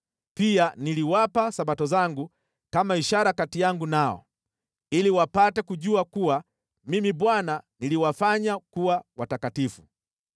Pia niliwapa Sabato zangu kama ishara kati yangu nao, ili wapate kujua kuwa Mimi Bwana niliwafanya kuwa watakatifu.